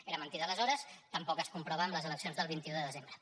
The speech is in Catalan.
era mentida aleshores tampoc es comprova en les eleccions del vint un de desembre